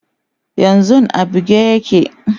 yanzun a buge yake